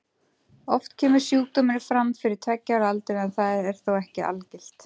Oft kemur sjúkdómurinn fram fyrir tveggja ára aldur en það er þó ekki algilt.